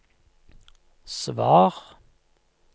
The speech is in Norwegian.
svar